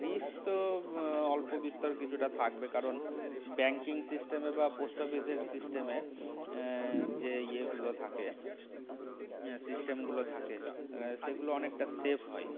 risk তো অল্পবিস্তর কিছুটা থাকবে কারণ banking system বা post office র system এ আহ যে ইয়ে গুলো থাকে system গুলো থাকে আহ সেগুলো অনেকটা safe হয়